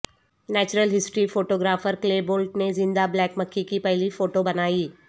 natural history photographer Clay Bolt نے زندہ black مکھی کی پہلی فوٹو بنائی